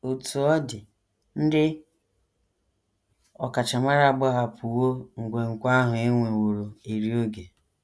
Otú ọ dị, ndị ọkachamara agbahapụwo nkwenkwe ahụ e nweworo eri oge.